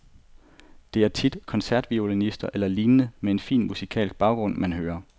Det er tit koncertviolinister eller lignende med en fin musikalsk baggrund, man hører.